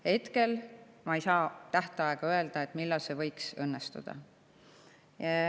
Hetkel ma ei saa öelda tähtaega, millal see võiks õnnestuda.